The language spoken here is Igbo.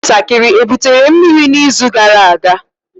Ụmụntakịrị ebutere mmiri n'izu gara aga?